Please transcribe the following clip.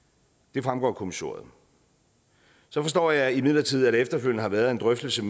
det fremgår af kommissoriet så forstår jeg imidlertid at der efterfølgende har været en drøftelse